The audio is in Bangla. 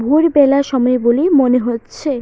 ভোর বেলার সময় বলেই মনে হচ্ছে।